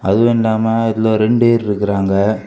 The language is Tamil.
அதுவில்லாம இதுல ரெண்டு வேர் இருக்கராங்க.